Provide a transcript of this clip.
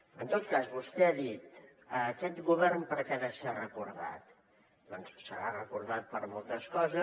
en tot cas vostè ha dit aquest govern per què ha de ser recordat doncs serà recordat per moltes coses